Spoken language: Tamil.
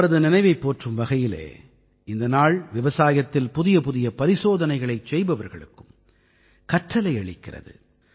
அவரது நினைவைப் போற்றும் வகையிலே இந்த நாள் விவசாயத்தில் புதியபுதிய பரிசோதனைகளைச் செய்பவர்களுக்கும் கற்றலை அளிக்கிறது